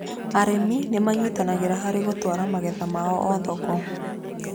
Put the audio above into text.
Arĩmi nĩ manyitanagĩra hari gũtwara magetha ma o thoko.